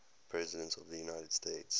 presidents of the united states